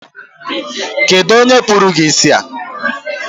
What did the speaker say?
Kedu onye kpụrụ gi isi?